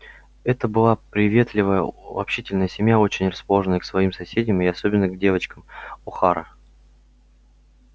это была приветливая общительная семья очень расположенная к своим соседям и особенно к девочкам охара